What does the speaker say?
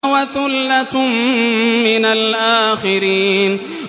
وَثُلَّةٌ مِّنَ الْآخِرِينَ